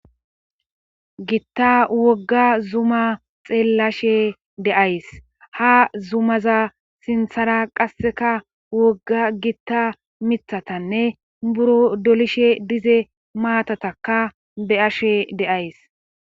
gitta wogga zuma xeellashe de'ays ha zumaza sinthara qasseka wogga gitta mithatanne buro dolishe dize maatataka be'ashe de'as.